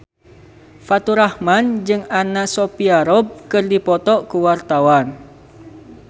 Faturrahman jeung Anna Sophia Robb keur dipoto ku wartawan